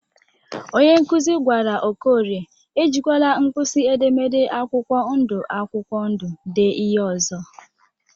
Onye nkụzị gwara Okorie e jikwala mkpisi edemede akwụkwọ ndu akwụkwọ ndu dee ihe ọzọ.